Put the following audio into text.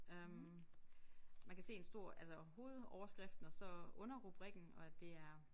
Øh man kan se en stor altså hovedoverskriften og så underrubrikken og at det er